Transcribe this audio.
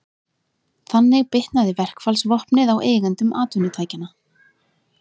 Þannig bitnaði verkfallsvopnið á eigendum atvinnutækjanna.